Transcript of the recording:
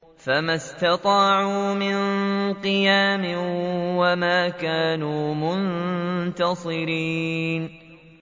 فَمَا اسْتَطَاعُوا مِن قِيَامٍ وَمَا كَانُوا مُنتَصِرِينَ